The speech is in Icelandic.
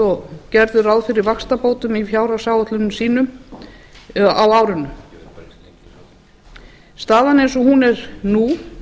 og gerðu ráð fyrir vaxtabótum í fjárhagsáætlunum sínum á árinu staðan eins og hún er nú